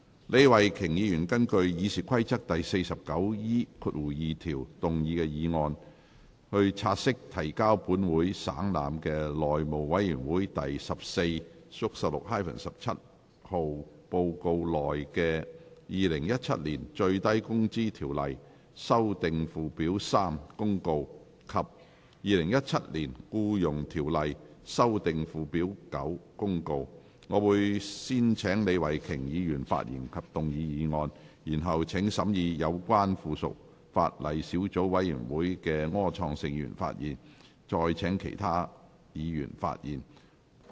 李慧琼議員會根據《議事規則》第 49E2 條動議議案，察悉提交本會省覽的內務委員會第 14/16-17 號報告內的《2017年最低工資條例公告》及《2017年僱傭條例公告》。我會先請李慧琼議員發言及動議議案，然後請審議有關附屬法例的小組委員會主席柯創盛議員發言，再請其他議員發言。